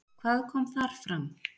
Hvað kom þar fram?